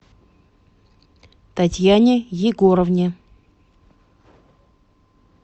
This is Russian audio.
татьяне егоровне